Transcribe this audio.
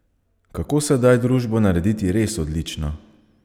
Kako sedaj družbo narediti res odlično?